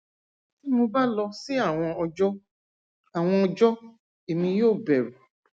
ti mo ba lọ si awọn ọjọ awọn ọjọ emi yoo bẹru